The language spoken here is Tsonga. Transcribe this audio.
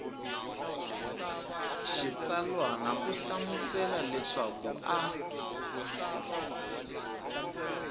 xitsalwana u hlamusela leswaku a